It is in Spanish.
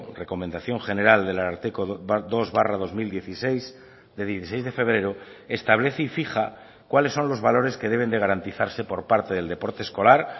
recomendación general del ararteko dos barra dos mil dieciséis de dieciséis de febrero establece y fija cuáles son los valores que deben de garantizarse por parte del deporte escolar